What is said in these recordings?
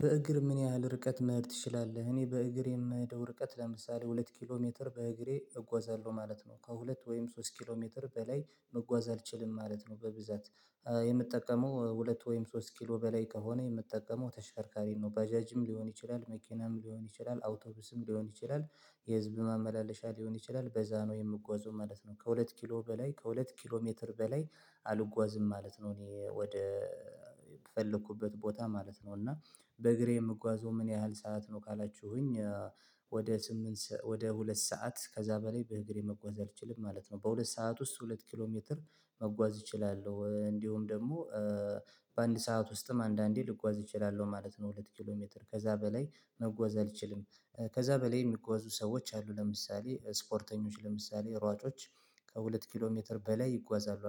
በእግር ምን ያህል ርቀት መሄድ ትችላለህ? እኔ በእግር የምሄደው ርቀት ለምሳሌ ሁለት ኪሎ ሜትር በእግሬ እጓዛለሁ ማለት ነው ከሁለት ወይም ሶስት ኪሎ ሜትር በላይ መጓዝ አልችልም ማለት ነው። በብዛት የምጠቀመው ሁለት ወይም ሶስት ኪሎ በላይ ከሆነ የምትጠቀመው ተሽከርካሪ ነው ባዣጅም ሊሆን ይችላል መኪናም ሊሆን ይችላል አውቶቡስም ሊሆን ይችላል የህዝብ ማመላለሻ ሊሆን ይችላል በዛ ነው የምጓዘው ማለት ነው። ከሁለት ኪሎ በላይ ከሁለት ኪሎ ሜትር በላይ አልጓዝም ማለት ነው። እኔ ወደ የፈለኩበት ቦታ ማለት ነው እና በእግሬ የምጓዘው ምን ያህል ሰዓት ነው ካላችሁኝ ወደ ስምንት ወደ ሁለት ሰዓት ከዛ በላይ በእግሬ መጓዝ አልችልም ማለት ነው። በሁለት ሰዓት ውስጥ ሁለት ኪሎ ሜትር መጓዝ እችላለሁ እንዲሁም ደግሞ በአንድ ሰዓት ውስጥም አንዳንዴ ልጓዝ እችላለሁ ማለት ነው። ሁለት ኪሎ ሜትር ከዛ በላይ መጓዝ አልችልም። ከዛ በላይ የሚጓዙ ሰዎች አሉ ለምሳሌ ስፖርተኞች እና ሯጮች። ከሁለት ኪሎ ሜትር በላይ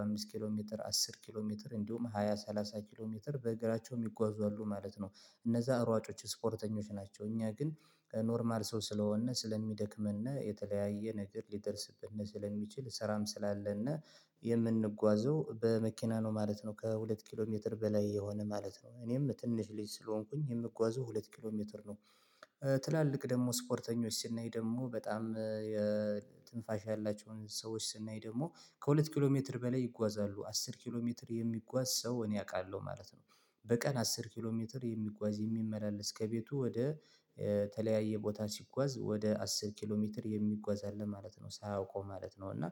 አምስት ኪሎ ሜትር አስር ኪሎ ሜትር እንዲሁም ሃያ ሰላሳ ኪሎ ሜትር በእግራቸውም ይጓዙታሉ ማለት ነው። እነዛ ሯጮች ስፖርተኞች ናቸው እኛ ግን ከኖርማል ሰው ስለሆንነ ስለሚደክመነ የተለያየ ነገር ሊደርስብን ስለሚችል ስራም ስላለነ የምንጓዘው በመኪና ነው ማለት ነው። ከሁለት ኪሎ ሜትር በላይ የሆነ ማለት ነው እኔም ትንሽ ልጅ ስለሆንኩኝ የምጓዘው ሁለት ኪሎ ሜትር ነው። ትላልቅ ደግሞ ስፖርተኞች ስናይ ደግሞ በጣም ትንፋሽ ያላቸውን ሰዎች ስናይ ደግሞ ከሁለት ኪሎ ሜትር በላይ ይጓዛሉ አስር ኪሎ ሜትር የሚጓዝ ሰው እኔ አውቃለሁ ማለት ነው። በቀን አስር ኪሎ ሜትር የሚጓዝ የሚመላለስ ከቤቱ ወደ የተለያየ ቦታ ሲጓዝ ወደ አስር ኪሎ ሜትር የሚጓዝ አለ ማለት ነው ሳያውቀው ማለት ነው። እና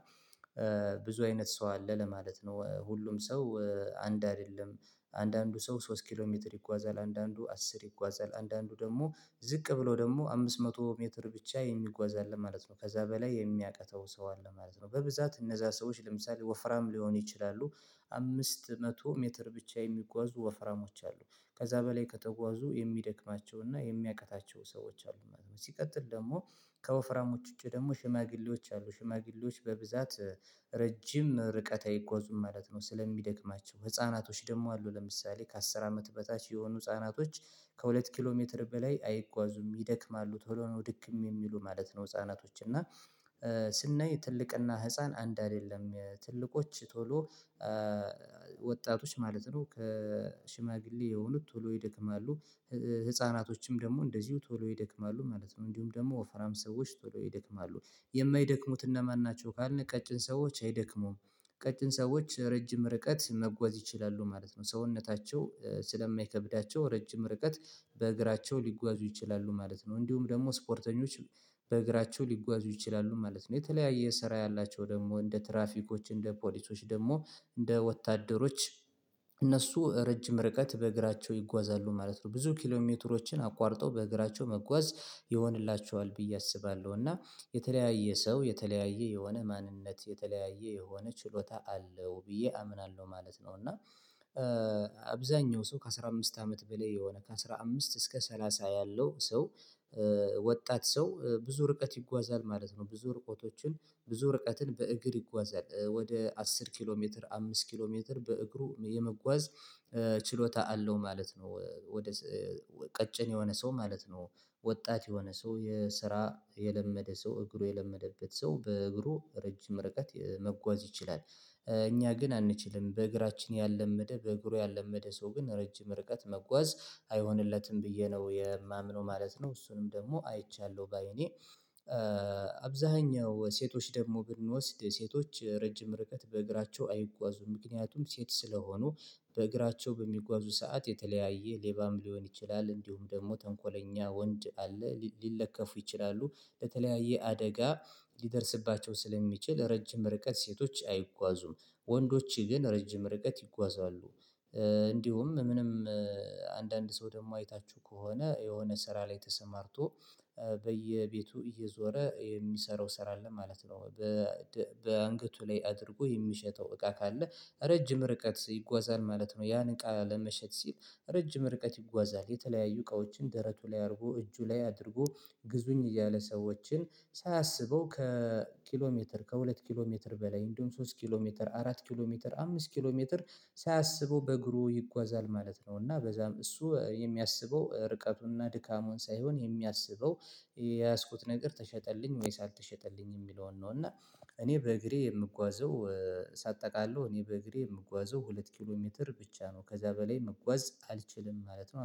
ብዙ አይነት ሰው አለ ለማለት ነው ሁሉም ሰው አንድ አይደለም። አንዳንዱ ሰው ሶስት ኪሎ ሜትር ይጓዛል አንዳንዱ አስር ይጓዛል አንዳንዱ ደግሞ ዝቅ ብሎ ደግሞ አምስት መቶ ሜትር ብቻ የሚጓዝ አለ ማለት ነው። ከዛ በላይ የሚያቅተው ሰው አለ ማለት ነው። በብዛት እነዛ ሰዎች ለምሳሌ ወፍራም ሊሆን ይችላሉ። አምስት መቶ ሜትር ብቻ የሚጓዙ ወፍራሞች አሉ ከዛ በላይ ከተጓዙ የሚደክማቸውና የሚያቅታቸው ሰዎች አሉ ማለት ነው። ሲቀጥል ደግሞ ከወፍራሞች ውጪ ደግሞ ሽማግሌዎች አሉ ሽማግሌዎች በብዛት ረጅም ርቀት አይጓዙም ማለት ነው። ስለሚደክማቸው ህፃናቶች ደግሞ አሉ ለምሳሌ ከአስር አመት በታች የሆኑ ህፃናቶች ከሁለት ኪሎ ሜትር በላይ አይጓዙም ይደክማሉ ቶሎ ነው ድክም የሚሉ ማለት ነው። ህፃናቶች እና ስናይ ትልቅና ህፃን አንድ አይደለም ትልቆች ቶሎ ወጣቶች ማለት ነው ከሽማግሌ የሆኑት ቶሎ ይደክማሉ ደግሞ እንደዚሁ ቶሎ ይደክማሉ ማለት ነው። እንዲሁም ደግሞ ወፍራም ሰዎች ቶሎ ይደክማሉ የማይደክሙት እነማን ናቸው? ካልን ቀጭን ሰዎች አይደክሙም ቀጭን ሰዎች ረጅም ርቀት መጓዝ ይችላሉ ማለት ነው። ሰውነታቸው ስለማይከብዳቸው ረጅም ርቀት በእግራቸው ሊጓዙ ይችላሉ ማለት ነው። እንዲሁም ደግሞ ስፖርተኞች በእግራቸው ሊጓዙ ይችላሉ ማለት ነው። የተለያየ ስራ ያላቸው ደግሞ እንደ ትራፊኮች እንደ ፖሊሶች ደግሞ እንደ ወታደሮች እነሱ ረጅም ርቀት በእግራቸው ይጓዛሉ ማለት ነው። ብዙ ኪሎሜትሮችን አቋርጠው በእግራቸው መጓዝ ይሆንላችዋል ብዬ አስባለሁ እና የተለያየ ሰው የተለያየ የሆነ ማንነት የተለያየ የሆነ ችሎታ አለው ብዬ አምናለሁ ማለት ነው። እና ሰው ከአስራ አምስት አመት በላይ የሆነ ከአስራ ምስት እስከ ሰላሳ ያለው ሰው ወጣት ሰው ብዙ ርቀት ይጓዛል ማለት ነው። ብዙ ርቀትን በእግር ይጓዛል ወደ አስር ኪሎ ሜትር አምስት ኪሎ ሜትር በእግሩ የመጓዝ ችሎታ አለው ማለት ነው። ወደ ቀጭን የሆነ ሰው ማለት ነው። ወጣት የሆነ ሰው የስራ የለመደ ሰው እግሩ የለመደበት ሰው በእግሩ ረጅም ርቀት መጓዝ ይችላል። እኛ ግን አንችልም በእግራችን ያልለመደ በእግሩ ያልለመደ ሰው ግን ረጅም ርቀት መጓዝ አይሆንለትም ብዬ ነው የማምነው ማለት ነው። እሱንም ደግሞ አይቻለሁ ባይኔ አብዛኛው ሴቶች ደግሞ ብንወስድ ሴቶች ረጅም ርከት በእግራቸው አይጓዙም። ምክንያቱም ሴት ስለሆኑ በእግራቸው በሚጓዙ ሰዓት የተለያየ ሌባም ሊሆን ይችላል እንዲሁም ደግሞ ተንኮለኛ ወንድ አለ ሊለከፉ ይችላሉ በተለያየ አደጋ ሊደርስባቸው ስለሚችል ረጅም ርቀት ሴቶች አይጓዙም። ወንዶች ግን ረጅም ርቀት ይጓዛሉ። እንዲሁም ምንም አንዳንድ ሰው ደግሞ አይታችሁ ከሆነ የሆነ ስራ ላይ ተሰማርቶ በየቤቱ እየዞረ የሚሰራው ስራ አለ ማለት ነው። በአንገቱ ላይ አድርጎ የሚሸተው እቃ ካለ ረጅም ርቀት ይጓዛል ማለት ነው። ያን እቃ ለመሸጥ ሲል ረጅም ርቀት ይጓዛል የተለያዩ እቃዎችን ደረቱ ላይ አድርጎ እጁ ላይ አድርጎ ግዙኝ እያለ ሰዎችን ሳያሰበው ከኪሎ ሜትር ከሁለት ኪሎ ሜትር በላይ እንዲሁም ሶስት ኪሎ ሜትር አራት ኪሎ ሜትር አምስት ኪሎ ሜትር ሳያስበው በእግሩ ይጓዛል ማለት ነው። እና በዛም እሱ የሚያስበው ርቀቱንና ድካሙን ሳይሆን የሚያስበው የያዝኩት ነገር ተሸጠልኝ ወይ አልተሸጠልኝ የሚለውን ነው። እና እኔ በእግሬ የምጓዘው ሳጠቃለሁ እኔ በእግሬ የምጓዘው ሁለት ኪሎ ሜትር ብቻ ነው ከዛ በላይ መጓዝ አልችልም ማለት ነው